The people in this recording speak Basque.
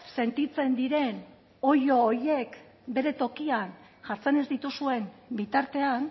sentitzen diren oilo horiek bere tokian jartzen ez dituzuen bitartean